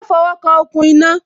Má fo wo kan okùn iná